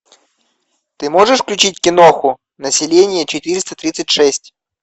ты можешь включить киноху население четыреста тридцать шесть